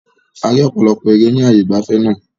A rí ọ̀pọ̀lọpọ̀ ère ni ààyè ìgbafẹ́ náà.